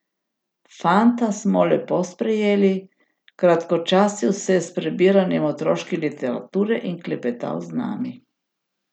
Fanta smo lepo sprejeli, kratkočasil se je s prebiranjem otroške literature in klepetal z nami.